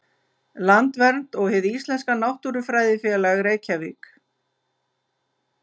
Landvernd og Hið íslenska náttúrufræðifélag, Reykjavík.